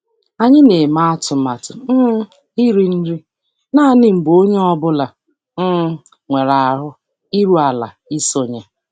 Anyị na-eme atụmatụ um iri nri naanị mgbe onye ọ bụla um nwere ahụ iru ala isonye.